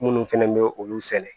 Minnu fɛnɛ bɛ olu sɛnɛ